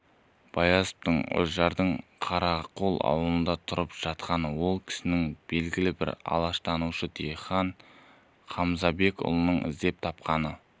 баязитов үржардың қарақол ауылында тұрып жатқанын ол кісіні белгілі ғалым алаштанушы дихан қамзабекұлының іздеп тапқанын